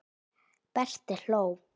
Berti hló.